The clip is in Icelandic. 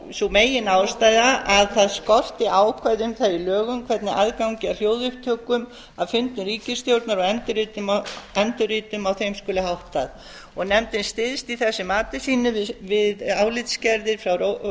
sú meginástæða að það skorti ákvæði um það í lögum hvernig aðgangi að hljóðupptökum af fundum ríkisstjórnar og endurritum á þeim skuli háttað nefndin styðst í þessu mati sínu við álitsgerðir frá